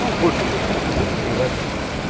ну большая часть этих людей переводилась